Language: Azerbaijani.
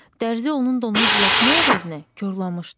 Dərzi onun donunu düzəltmək əvəzinə korlamışdı.